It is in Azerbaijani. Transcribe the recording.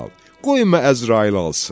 Qoyma Əzrail alsın.